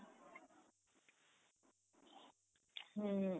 ହୁଁ